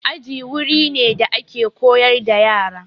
Aji wuri ne da ake koyar da yara.